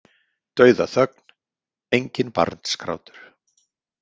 Dauðaþögn, enginn barnsgrátur.